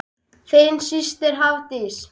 Þín systir, Hafdís.